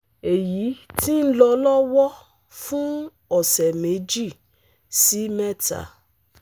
Èyí ti ń lọ lọ́wọ́ fún ọ̀sẹ̀ méjì sí mẹ́ta